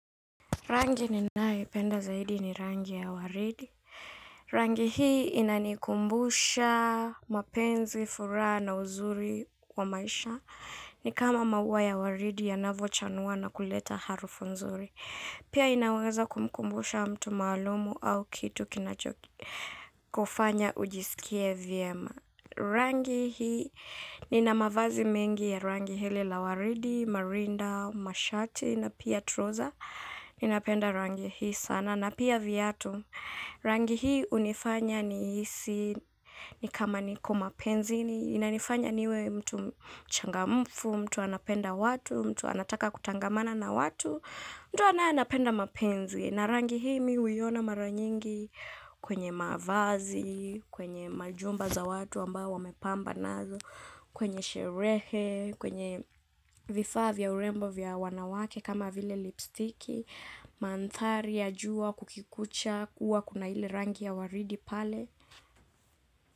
Rangi ninayoipenda zaidi ni rangi ya waridi. Rangi hii inanikumbusha mapenzi, furaha na uzuri wa maisha. Ni kama maua ya waridi yanavyochanua na kuleta harufu nzuri. Pia inaweza kumkumbusha mtu maalumu au kitu kinachokufanya ujisikie vyema rangi hii nina mavazi mengi ya rangi hili la waridi, marinda, mashati na pia trauser. Ninapenda rangi hii sana na pia viatu rangi hii hunifanya nihisi ni kama niko mapenzini inanifanya niwe mtu mchangamfu, mtu anapenda watu, mtu anataka kutangamana na watu mtu anapenda mapenzi na rangi hii mimi huiona mara nyingi kwenye mavazi, kwenye majumba za watu ambao wamepamba nazo kwenye sherehe, kwenye vifaa vya urembo vya wanawake kama vile lipstiki, mandhari, ya jua, kukikucha, huwa kuna ile rangi ya waridi pale.